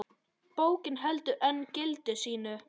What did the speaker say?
Bókin heldur enn gildi sínu.